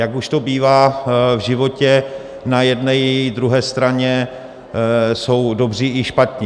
Jak už to bývá v životě, na jedné i druhé straně jsou dobří i špatní.